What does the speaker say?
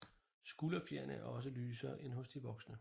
Skulderfjerene er også lysere end hos de voksne